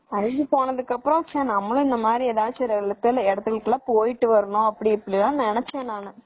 IV போனதுக்கப்பறம் நம்மளும் இந்தமாதிரி எல்லாம் இடத்துக்கு போகணும்னு நினச்சேன் நானு.